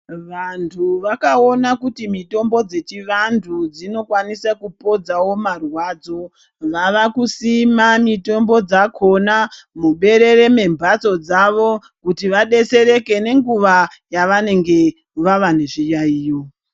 Vantu vakaona kuti mitombo dzechivantu dzinokwanisa kupodzawo marwadzo vava kusima mitombo dzakona muberere membatso dzavo kuti vadetsereke nenguwa yavanenge vava nezviyayiyo.